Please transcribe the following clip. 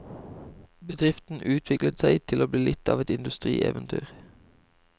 Bedriften utviklet seg til å bli litt av et industrieventyr.